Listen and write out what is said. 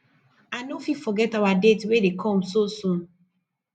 i no fit forget our date wey dey come so soon